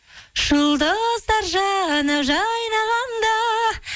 жұлдыздар жаны жайнағанда